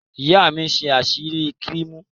Ìyá mi ń ṣe áísíkrimù.